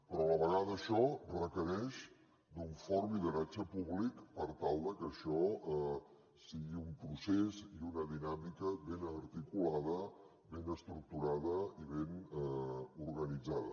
però a la vegada això requereix un fort lideratge públic per tal que això sigui un procés i una dinàmica ben articulada ben estructurada i ben organitzada